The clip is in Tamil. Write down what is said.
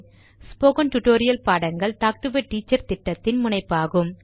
ஸ்போகன் டுடோரியல் பாடங்கள் டாக்டு எ டீச்சர் திட்டத்தின் முனைப்பாகும்